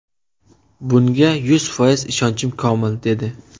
Bunga yuz foiz ishonchim komil”, dedi.